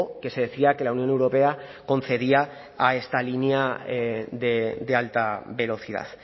que se decía que la unión europea concedía a esta línea de alta velocidad